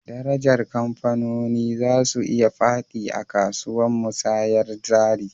Darajar kamfanoni za su iya fadi a kasuwan musayyar jari